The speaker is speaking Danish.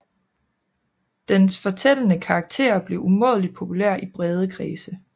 Dens fortællende karakter blev umådeligt populær i brede kredse